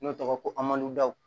N'o tɔgɔ ye ko amadu daw